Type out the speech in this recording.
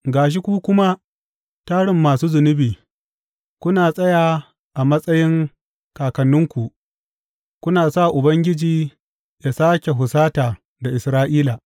Ga shi ku kuma, tarin masu zunubi, kuna tsaya a matsayin kakanninku, kuna sa Ubangiji yă sāke husata da Isra’ila.